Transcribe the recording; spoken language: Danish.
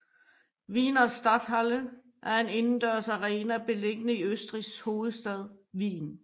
Wiener Stadthalle er en indendørs arena beliggende i Østrigs hovedstad Wien